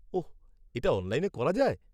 ওহ, এটা অনলাইনে করা যায়?